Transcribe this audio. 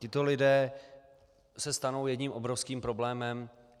Tito lidé se stanou jedním obrovským problémem.